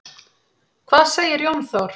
Hvað segir Jón Þór?